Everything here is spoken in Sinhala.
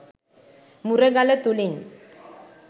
මුරගල තුළින්